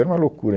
Era uma loucura.